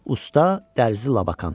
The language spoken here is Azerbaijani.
Usta dərzi Labakan.